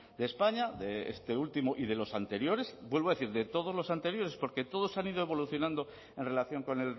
de españa de este último y de los anteriores vuelvo a decir de todos los anteriores porque todos han ido evolucionando en relación con